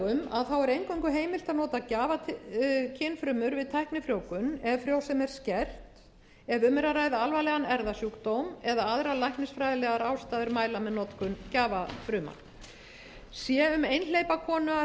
eingöngu heimilt að nota gjafafrumna við tæknifrjóvgun ef frjósemi er skert ef um er að ræða alvarlegan erfðasjúkdóm eða aðra læknisfræðilegar ástæður mæla með notkun gjafafrumna sé um einhleypa konu